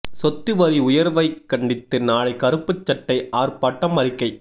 சொத்து வரி உயா்வைக் கண்டித்து நாளை கருப்புச் சட்டை ஆா்ப்பாட்டம் அறிக்கை